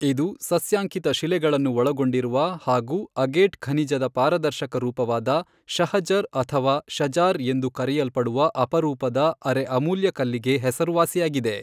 ಇದು ಸಸ್ಯಾಂಕಿತ ಶಿಲೆಗಳನ್ನು ಒಳಗೊಂಡಿರುವ ಹಾಗೂ ಅಗೇಟ್ ಖನಿಜದ ಪಾರದರ್ಶಕ ರೂಪವಾದ ಶಹಜರ್ ಅಥವಾ ಷಜಾರ್ ಎಂದು ಕರೆಯಲ್ಪಡುವ ಅಪರೂಪದ ಅರೆ ಅಮೂಲ್ಯ ಕಲ್ಲಿಗೆ ಹೆಸರುವಾಸಿಯಾಗಿದೆ.